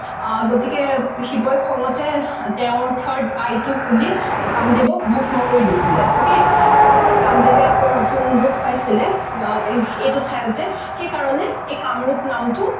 আহ গতিকে শিৱই খংতে তেওঁৰ third eye টো খুলি কামদেৱক ভস্ম কৰি দিছিলে ok তাৰ পাছত কামদেৱে আকৌ নতুন ৰোপ পাইছিলে এইটো ঠাইতে সেই কাৰনে এই কামৰোপ নামটো